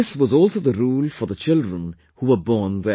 This was also the rule for the children who were born there